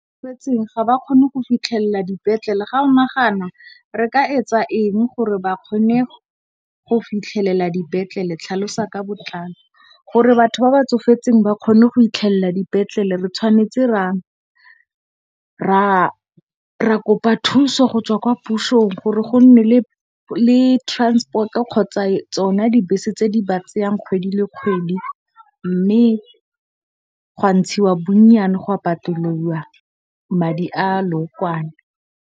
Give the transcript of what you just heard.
Batho ba tsofetseng ga ba kgone go fitlhelela dipetlele ga o nagana re ka etsa eng gore ba kgone go fitlhelela dipetlele? Tlhalosa ka botlalo. Gore batho ba ba tsofetseng ba kgone go fitlhelela dipetlele, re tshwanetse ra kopa thuso go tswa kwa pusong gore go nne le transport kgotsa tsona dibese tse di ba tseyang kgwedi le kgwedi mme, gwa ntshiwa bonnyane gwa patelwa madi a lookwane.